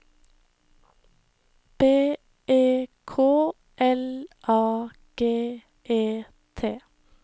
B E K L A G E T